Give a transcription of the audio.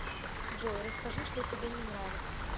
джой расскажи что тебе не нравится